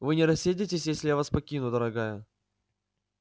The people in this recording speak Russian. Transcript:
вы не рассердитесь если я вас покину дорогая